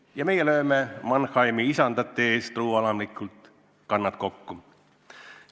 Ja meie lööme Mannheimis tegutsevate isandate ees truualamlikult kannad kokku.